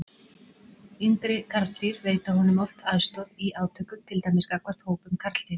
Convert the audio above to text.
Yngri karldýr veita honum oft aðstoð í átökum, til dæmis gagnvart hópum karldýra.